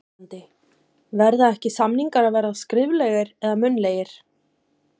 Viðmælandi: Verða ekki, samningar að vera skriflegir eða munnlegir?